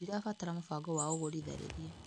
Ndirabatara mũbango wa ũgũri tharĩria.